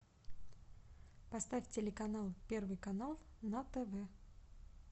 поставь телеканал первый канал на тв